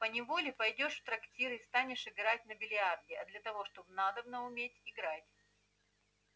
поневоле пойдёшь в трактир и станешь играть на биллиарде а для того чтоб надобно уметь играть